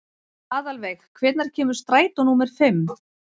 Aðalveig, hvenær kemur strætó númer fimm?